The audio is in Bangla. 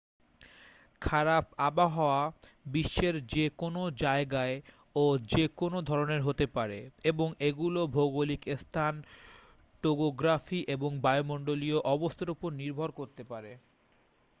খারাপ আবহাওয়া বিশ্বের যে কোনও জায়গায় ও যে কোন ধরণের হতে পারে এবং এগুলো ভৌগলিক স্থান টোগোগ্রাফি এবং বায়ুমণ্ডলীয় অবস্থার উপর নির্ভর করতে পারে